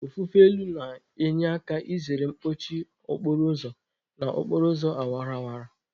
Ofufe elu na-enye aka izere mkpọchi okporo ụzọ n'okporo ụzọ awara awara.